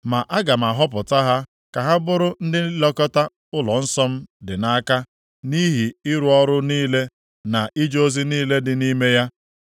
Ma aga m ahọpụta ha ka ha bụrụ ndị ilekọta ụlọnsọ m dị nʼaka, nʼihi ịrụ ọrụ niile na ije ozi niile dị nʼime ya.